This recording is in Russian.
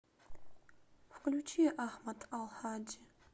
включи ахмад ал хаджи